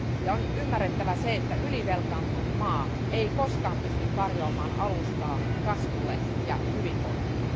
On ymmärrettävä se, että ylivelkaantunut maa ei koskaan pysty tarjoamaan alustaa kasvulle ja hyvinvoinnille.